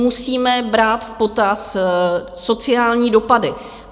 Musíme brát v potaz sociální dopady.